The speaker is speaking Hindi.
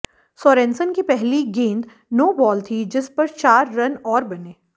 सोरेनसन की पहली गेंद नोबाल थी जिस पर चार रन और बने